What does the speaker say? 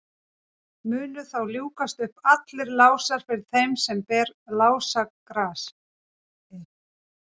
munu þá ljúkast upp allir lásar fyrir þeim sem ber lásagrasið